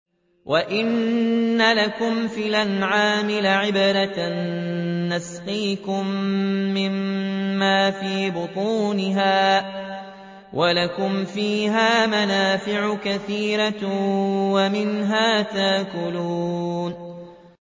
وَإِنَّ لَكُمْ فِي الْأَنْعَامِ لَعِبْرَةً ۖ نُّسْقِيكُم مِّمَّا فِي بُطُونِهَا وَلَكُمْ فِيهَا مَنَافِعُ كَثِيرَةٌ وَمِنْهَا تَأْكُلُونَ